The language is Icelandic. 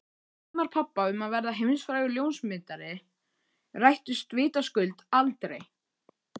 Draumar pabba um að verða heimsfrægur ljósmyndari rættust vitaskuld aldrei.